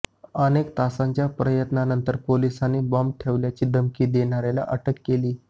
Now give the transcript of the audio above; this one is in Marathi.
अनेक तासांच्या प्रयत्नांनतर पोलिसांनी बॉम्ब ठेवल्याची धमकी देणाऱ्याला अटक केली